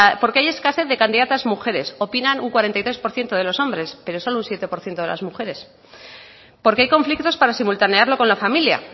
porque hay escasez de candidatas mujeres opinan un cuarenta y dos por ciento de los hombres pero solo un siete por ciento de las mujeres porque hay conflictos para simultanearlo con la familia